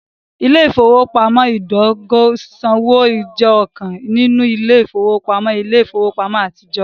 Ile-ifowopamọ idogo sisanwo jẹ ọkan ninu ile-ifowopamọ ile-ifowopamọ atijọ.